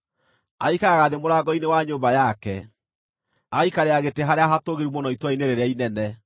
Aikaraga thĩ mũrango-inĩ wa nyũmba yake, agaikarĩra gĩtĩ harĩa hatũũgĩru mũno itũũra-inĩ rĩrĩa inene,